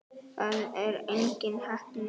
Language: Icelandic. Það er engin heppni.